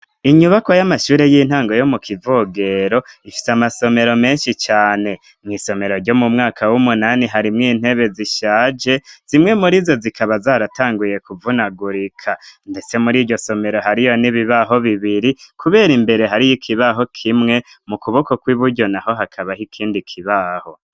Inyubako y'amashure y'intango yo mu Kivogero, ifise amasomero menshi cane, mw'isomero ryo mu mwaka w'umunani harimwo intebe zishaje, zimwe muri zo zikaba zaratanguye kuvunagurika, ndetse muri iryo somero hariyo n'ibibaho bibiri kubera imbere hariyo ikibaho kimwe, mu kuboko kw'iburyo naho hakabaho ikindi kibaho.